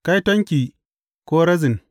Kaitonki, Korazin!